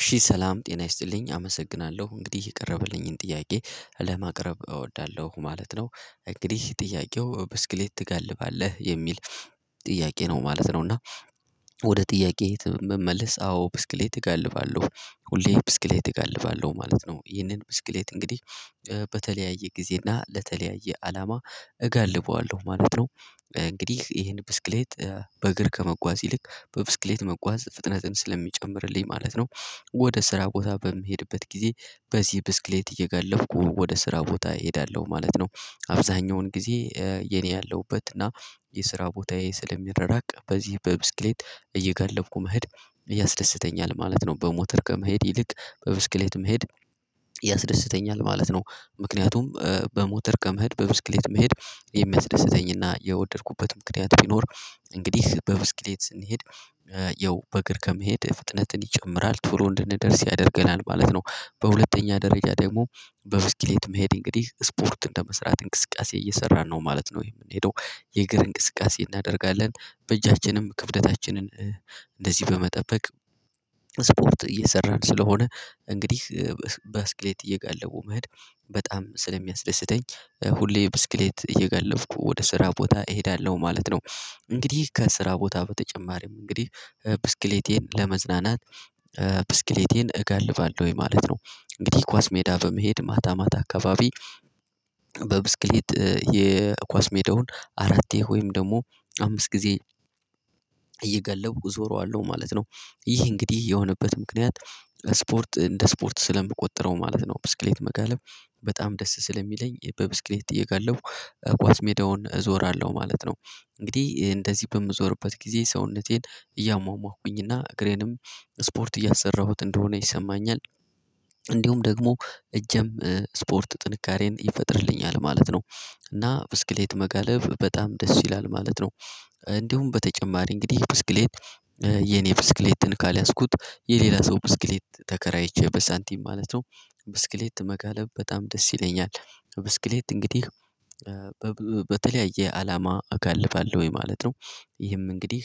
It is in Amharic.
እሺ ሰላም ጤና ይስጥልኝ አመሰግናለሁ እንግዲህ የቀረበልኝን ጥያቄ ለማቅረብ እወዳለሁ ማለት ነው። እንግዲህ ጥያቄው ብስክሌት ትጋልባለህ የሚል ጥያቄ ነው ማለት ነው። እና ወደ ጥያቄ መመለስ አዎ ብስክሌት እጋልባለሁ ሁሌ ብስክሌት እጋልባለሁ ማለት ነው ይህንን ብስክሌት እንግዲህ በተለያየ ጊዜ እና ለተለያየ አላማ እጋልበዋለሁ ማለት ነው። እንግዲህ ይሄን ብስክሌት በእግር ከመጓዝ ይልቅ በብስክሌት መጓዝ ፍጥነትን ስለሚጨምርልኝ ማለት ነው። ወደ ስራ ቦታ በምሄድበት ጊዜ በዚህ ብስክሌት እየጋለብኩ ወደ ስራ ቦታ እሄዳለሁ ማለት ነው። አብዛኛውን ጊዜ የኔ ያለሁበት እና የስራ ቦታዬ ስለሚራራቅ በዚህ በብስክሌት እየጋለብኩ መሄድ ያስደስተኛል ማለት ነው። በሞተር ከመሄድ ይልቅ በብስክሌት መሄድ ያስደስተኛል ማለት ነው። ምክንያቱም በሞተር ከምሄድ በብስክሌት መሄድ የሚያስደስተኝና የወደድኩበት የወደድኩበትም ምክንያት ቢኖር እንግዲህ በብስክሌት ስንሄድ ያው በእግር ከመሄድ ፍጥነትን ይጨምራል ቶሎ እንድንደርስ ያደርገናል ማለት ነው። በሁለተኛ ደረጃ ደግሞ በብስክሌት መሄድ እንግዲህ ስፖርት እንደመስራት እንቅስቃሴ እየሰራን ነው ማለት ነው የምንሄደው። የእግር እንቅስቃሴ እናደርጋለን በእጃችንም ክብደታችንን እንደዚህ በመጠበቅ ስፖርት እየሰራን ስለሆነ እንግዲህ ብስክሌት እየጋለቡ መሄድ በጣም ስለሚያስደስተኝ። ሁሌ ብስክሌት እየጋለብኩ ወደ ስራ ቦታ እሄዳለሁ ማለት ነው። እንግዲህ ከስራ ቦታ በተጨማሪም እንግዲህ ብስክሌቴን ለመዝናናት ብስክሌቴን እጋልባለሁ ወይ ማለት ነው። እንግዲህ ኳስ ሜዳ በመሄድ ማታ ማታ አካባቢ በብስክሌት የኳስ ሜዳውን አራቴ ወይም ደግሞ አምስት ጊዜ እየጋለብኩ እዞረዋለሁ ማለት ነው። ይህ እንግዲህ የሆነበት ምክንያት ስፖርት እንደ ስፖርት ስለምቆጥረው ማለት ነው። ብስክሌት መጋለብ በጣም ደስ ስለሚለኝ በብስክሌት እየጋለብኩ ጓዝ ሜዳውን እዞራለሁ ማለት ነው። እንግዲህ እንደዚህ በምዞርበት ጊዜ ሰውነቴን እያሟሟኩኝና እግሬንም ስፖርት እያሰራሁት እንደሆነ ይሰማኛል። እንዲሁም ደግሞ እጅም ስፖርት ጥንካሬን ይፈጥርልኛል ማለት ነው። እና ብስክሌት መጋለብ በጣም ደስ ይላል ማለት ነው። እንዲሁም በተጨማሪ እንግዲህ ብስክሌት የኔ ብስክሌትን ካልያዝኩት የሌላ ሰው ብስክሌት ተከራይቼ በሳንቲም ማለት ነው። ብስክሌት መጋለብ በጣም ደስ ይለኛል። ብስክሌት እንግዲህ በተለያየ አላማ አጋልባለሁኝ ማለት ነው። ይህም እንግዲህ